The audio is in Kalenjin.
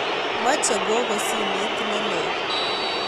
Mache gogo simet ne leel